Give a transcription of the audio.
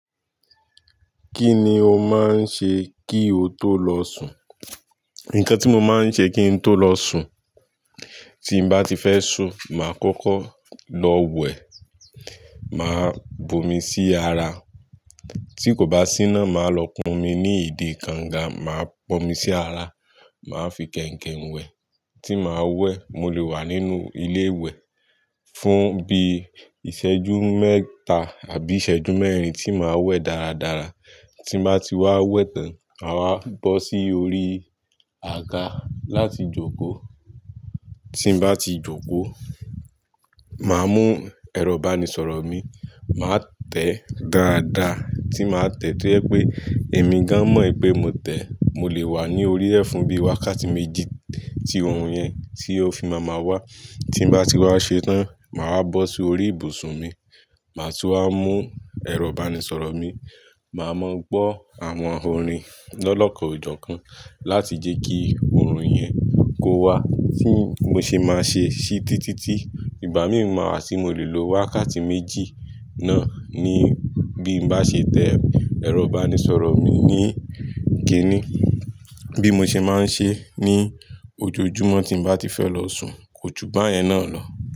Kí ni o máa ń ṣe kí o tó lọ sùn? Nǹkan tí mo máa ń ṣe kí n tó lọ sùn, tí mo bá ti fẹ́ sùn, màá kọ́kọ́ lọ wẹ̀. Màá bu omi sí ara. Tí kò bá sí iná, màá lọ pọn omi ní ìdi kànga, màá pọn omi sí ara, màá fi kẹ̀ǹkẹ̀ ń wẹ̀. Tí màá wẹ̀, mo lè wà nínú ilé ìwẹ̀ fún bí i ìṣẹ́jú mẹ́ta àbí ìṣẹ́jú mẹ́rin tí màá wẹ̀ dáradára. Tí mo bá ti wá wẹ̀ tán, màá wá bọ́ sí orí àga láti jókòó. Tí mo bá ti jókòó, màá mú ẹ̀rọ ìbánisọ̀rọ̀ mi, màá tẹ̀ dáadáa. Tí màá tẹ̀, tó ẹ́ pé èmi gan mọ̀ pé mo tẹ̀. Mo lè wà ní orí ẹ̀ fún bí wákàtí méjì tí òòrùn yẹn tí ó fi máa wá. Tí mo bá ti wá ṣe tán, màá wá bọ́ sí orí ibùsùn mi, màá tún wá mú ẹ̀rọ ìbánisọ̀rọ̀ mi, màá mọ́ gbọ́ àwọn orin lọ́lọ́kan ọ̀jọ̀ọ̀kan láti jẹ́ kí òòrùn yẹn kó wa. Bí mo ṣe máa ṣe ṣí títí tí ìgbà míì ma wá, tí mo lè lo wákàtí méjì náà ní bí mo bá ṣe tẹ̀ ẹ̀rọ ìbánisọ̀rọ̀ mi ní ìkíni. Bí mo ṣe máa ń ṣe ní ojoojúmọ́ tí mo bá ti fẹ́ lọ sùn, kò jú bá yẹn náà lọ.